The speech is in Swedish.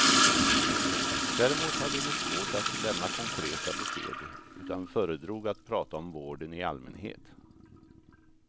Däremot hade de svårt att lämna konkreta besked, utan föredrog att prata om vården i allmänhet.